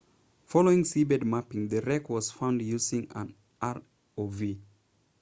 following seabed mapping the wreck was found using an rov